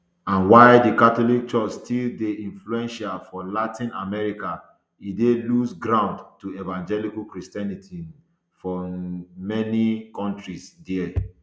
and while di catholic church still dey influential for latin america e dey lose ground to evangelical christianity um for um many kontris dia